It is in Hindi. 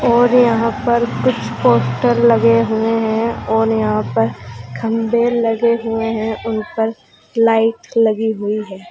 और यहां पर कुछ पोस्टर लगे हुए हैं और यहां पर खंबे लगे हुए हैं उनपर लाइट लगी हुई है।